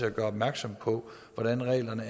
at gøre opmærksom på hvordan reglerne